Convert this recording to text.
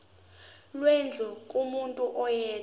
lwendlu kumuntu oyedwa